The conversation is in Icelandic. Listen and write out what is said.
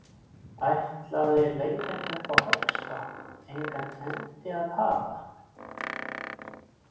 Ætlaði leiðin upp að höggstokknum engan endi að hafa?